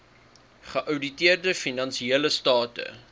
geouditeerde finansiële state